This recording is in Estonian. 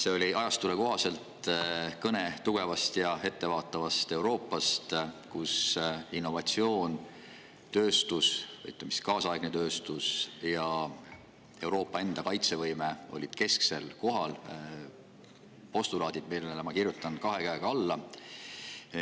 See oli ajastule kohaselt kõne tugevast ja ettevaatavast Euroopast, kus innovatsioon, tööstus, ütleme siis, kaasaegne tööstus ja Euroopa enda kaitsevõime olid kesksel kohal – postulaadid, millele ma kirjutan kahe käega alla.